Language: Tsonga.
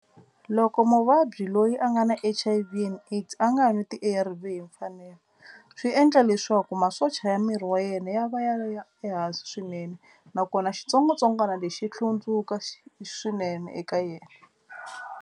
Loko muvabyi loyi a nga na H_I_V and AIDS a nga nwi ti-A_R_V hi mfanelo swi endla leswaku masocha ya miri wa yena ya va ya ya ehansi swinene nakona xitsongwatsongwana lexi hlundzuka xi swinene eka yena.